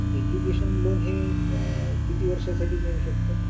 education loan हे किती वर्षा साठी मिळू शकत